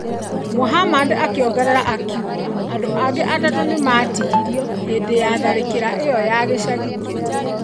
Muhammad akĩongerera akiuga ,andũ angĩ atatũ nĩ maatihirio hĩndĩ ya tharĩkĩro ĩyo ya gĩcagi kĩu.